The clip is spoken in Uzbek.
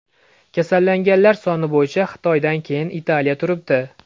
Kasallanganlar soni bo‘yicha Xitoydan keyin Italiya turibdi.